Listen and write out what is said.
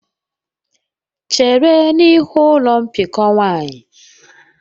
Chere n'ihu ụlọ mbikọ nwanyị!.